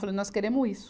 Falei, nós queremos isso.